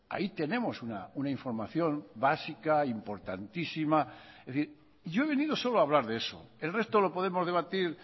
ahí tenemos una información básica importantísima es decir yo he venido solo hablar de eso el resto lo podemos debatir